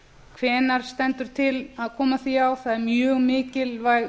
hvenær stendur til að koma því á það er mjög mikilvæg